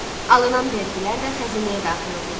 Alınan vergilər də xəzinəyə daxil olurdu.